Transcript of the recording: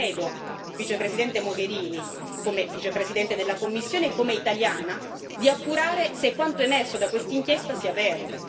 Io le chiedo, Vicepresidente Mogherini, come Vicepresidente della Commissione e come italiana, di appurare se quanto emerso da questa inchiesta sia vero.